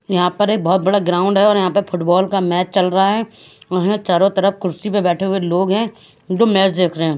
यहाँ परे बहत बड़ा ग्राउंड है और यहाँ पे फुटबाल का मैच चल रहा है चारो तरफ कुर्सीअ पे बैठे हुए लोग है जो मैच देख रहे है।